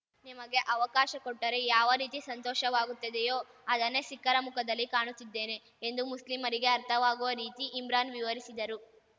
ನಿಮಗೆ ಅವಕಾಶ ಕೊಟ್ಟರೆ ಯಾವ ರೀತಿ ಸಂತೋಷವಾಗುತ್ತದೆಯೋ ಅದನ್ನೇ ಸಿಖ್ಖರ ಮುಖದಲ್ಲಿ ಕಾಣುತ್ತಿದ್ದೇನೆ ಎಂದು ಮುಸ್ಲಿಮರಿಗೆ ಅರ್ಥವಾಗುವ ರೀತಿ ಇಮ್ರಾನ್‌ ವಿವರಿಸಿದರು